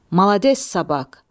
Malades sabak.